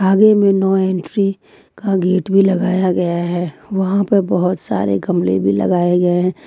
आगे में no entry का गेट भी लगाया गया है वहां पर बहोत सारे गमले भी लगाए गए हैं।